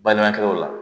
Balimakɛw la